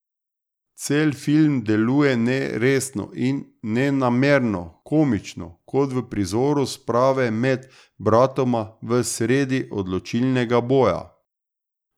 Cel film deluje neresno in nenamerno komično, kot v prizoru sprave med bratoma v sredi odločilnega boja.